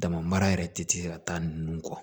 Dama mara yɛrɛ ti se ka taa nunnu kɔ